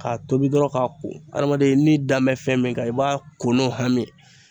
K'a tobi dɔrɔn k'a ko adamaden ni dan bɛ fɛn min kan i b'a ko n'o hami